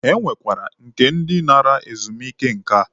E nwekwara nke ndi nara ezumike nká.